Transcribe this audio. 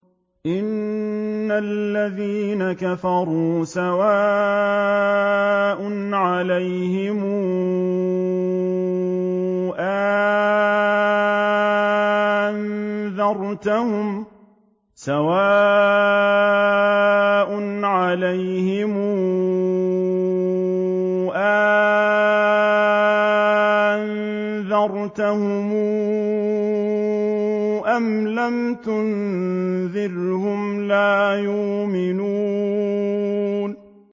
إِنَّ الَّذِينَ كَفَرُوا سَوَاءٌ عَلَيْهِمْ أَأَنذَرْتَهُمْ أَمْ لَمْ تُنذِرْهُمْ لَا يُؤْمِنُونَ